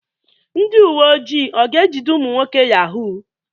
Ndị uwe ojii ọ ga-ejide ụmụ nwoke Yahoo?